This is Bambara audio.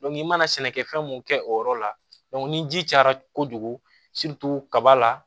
i mana sɛnɛkɛfɛn mun kɛ o yɔrɔ la ni ji cayara kojugu kaba la